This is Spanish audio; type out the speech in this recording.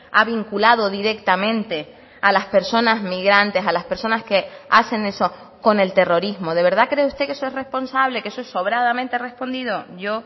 ha vinculado directamente a las personas migrantes a las personas que hacen eso con el terrorismo de verdad cree usted que eso es responsable qué eso es sobradamente respondido yo